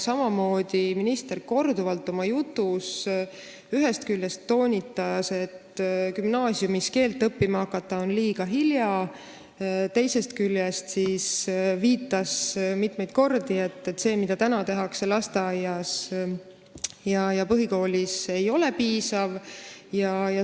Samamoodi toonitas minister korduvalt oma jutus ühest küljest seda, et gümnaasiumis keelt õppima hakata on liiga hilja, teisest küljest viitas mitmeid kordi sellele, et see, mida täna tehakse lasteaias ja põhikoolis, ei ole piisav.